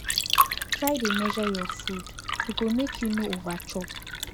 try dey measure your food e go make you no over chop